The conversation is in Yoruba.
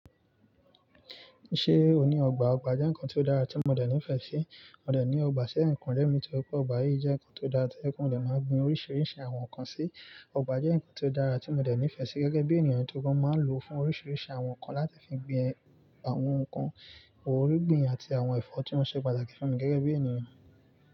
Ṣé ò ní ọgbà? Ọgbà jẹ́ nǹkan tó dára tí mo dẹ̀ nífẹ̀ẹ́ sí. Mò dẹ̀ ní ọgbà ṣẹ̀yìn kule mí torí pé ọgbà yìí jẹ́ ǹkan tó dáa tó jẹ pé mọ dẹ máa gbin oríṣiríṣi àwọn ǹkan sí. Ọgbà jẹ́ ǹkan tó dára tí mo dẹ̀ nífẹ̀ẹ́ sí gẹ́gẹ́ bí ènìyàn tó rí pé máa ń lò fún oríṣiríṣi àwọn ǹkan láti fi gbin àwọn ǹkan, àwọn irúgbìn àti àwọn ẹ̀fọ́ tí wọ́n ṣe pàtàkì fún mi gẹ́gẹ́ bí ènìyàn.